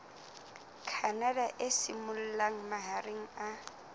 canada e simollang mahareng a